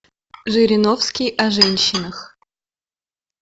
жириновский о женщинах